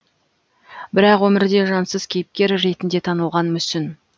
бірақ өмірде жансыз кейіпкер ретінде танылған мүсін